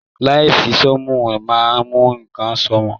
Lẹnsi soomu máa mú nkán sunmọ.